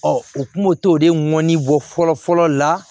Ɔ u kun b'o t'o de mɔni bɔ fɔlɔ fɔlɔ la